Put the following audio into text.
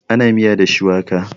ana miya da shuwaka